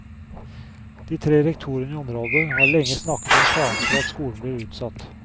De tre rektorene i området har lenge snakket om faren for at skolen blir utsatt.